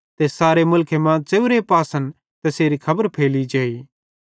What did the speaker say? ते सारे मुलखेरे मां च़ेव्रे पासन तैसेरी खबर फैली जेई